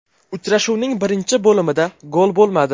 Uchrashuvning birinchi bo‘limida gol bo‘lmadi.